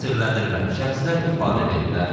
Təqsirləndirilən şəxslər ifadə veriblər.